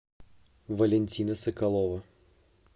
валентина соколова